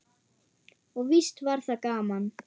Og víst var það gaman.